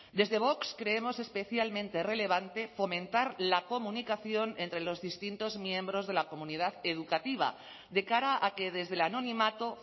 desde vox creemos especialmente relevante fomentar la comunicación entre los distintos miembros de la comunidad educativa de cara a que desde el anonimato